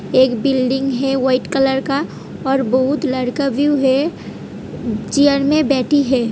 एक बिल्डिंग है white colour का और बोहुत लड़का भी ऊ है चेयर में बैठी है।